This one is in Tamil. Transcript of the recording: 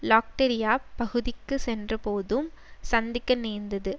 லாக்டரியாப் பகுதிக்கு சென்றபோதும் சந்திக்க நேர்ந்தது